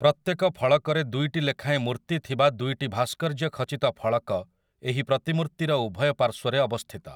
ପ୍ରତ୍ୟେକ ଫଳକରେ ଦୁଇଟି ଲେଖାଏଁ ମୂର୍ତ୍ତି ଥିବା ଦୁଇଟି ଭାସ୍କର୍ଯ୍ୟଖଚିତ ଫଳକ ଏହି ପ୍ରତିମୂର୍ତ୍ତିର ଉଭୟ ପାର୍ଶ୍ୱରେ ଅବସ୍ଥିତ ।